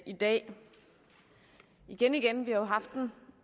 i dag igen igen vi jo haft den